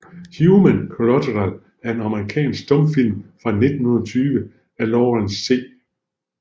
Human Collateral er en amerikansk stumfilm fra 1920 af Lawrence C